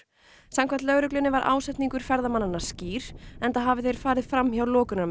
samkvæmt lögreglunni var ásetningur ferðamannanna skýr enda hafi þeir farið fram hjá